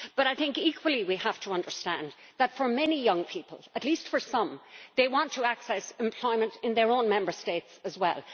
But equally, we have to understand that for many young people at least for some they want to access employment in their own Member State as well.